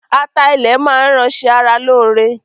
Ata ilẹ máa ń ran ṣe ara lóore.